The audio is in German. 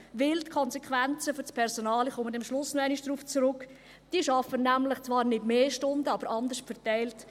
Denn die Konsequenzen für das Personal – ich komme am Schluss nochmals darauf zurück – sind, dass dieses dann zwar nicht mehr Stunden arbeiten, aber anders verteilt;